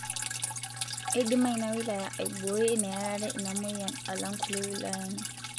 Edima ena wilaya aibooi neerare ina moyian alang' kulie wilayani